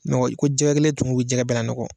i ko jɛgɛ kelen tumu o bɛ jɛgɛ bɛɛ lanɔgɔ.